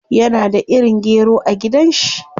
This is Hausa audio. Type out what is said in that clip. Yana da irin gero a gidan shi.